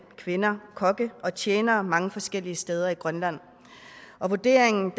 kvinder kokke og tjenere mange forskellige steder i grønland og vurderingen